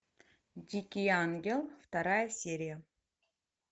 дикий ангел вторая серия